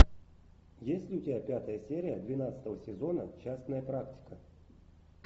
есть ли у тебя пятая серия двенадцатого сезона частная практика